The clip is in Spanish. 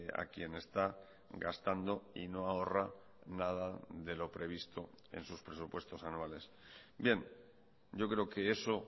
a quien está gastando y no ahorra nada de lo previsto en sus presupuestos anuales bien yo creo que eso